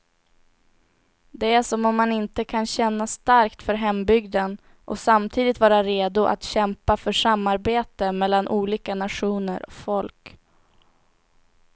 Det är som om man inte kan känna starkt för hembygden och samtidigt vara redo att kämpa för samarbete mellan olika nationer och folk.